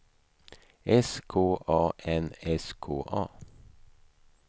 S K A N S K A